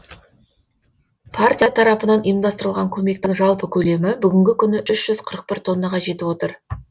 партия тарапынан ұйымдастырылған көмектің жалпы көлемі бүгінгі күні үш жүз қырық бір тоннаға жетіп отыр